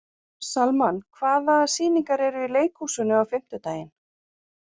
Salmann, hvaða sýningar eru í leikhúsinu á fimmtudaginn?